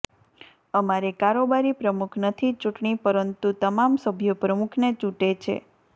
અમારે કારોબારી પ્રમુખ નથી ચૂંટણી પરંતુ તમામ સભ્યો પ્રમુખને ચૂંટે છે